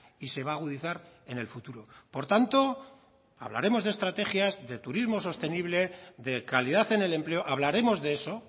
y se va a agudizar en el futuro por tanto hablaremos de estrategias de turismo sostenible de calidad en el empleo hablaremos de eso